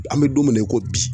An bɛ don min na i ko bi